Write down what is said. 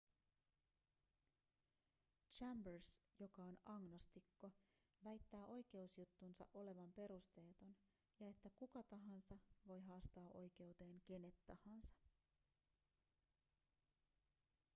chambers joka on agnostikko väittää oikeusjuttunsa olevan perusteeton ja että kuka tahansa voi haastaa oikeuteen kenet tahansa